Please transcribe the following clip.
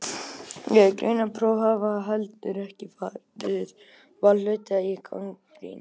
Greindarpróf hafa heldur ekki farið varhluta af gagnrýni.